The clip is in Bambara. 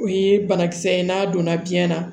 O ye banakisɛ ye n'a donna biyɛn na